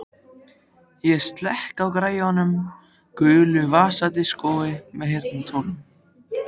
Ég slekk á græjunum, gulu vasadiskói með heyrnartólum.